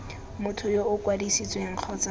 motho yo o kwadisitsweng kgotsa